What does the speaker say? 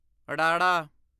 ੜਾੜਾ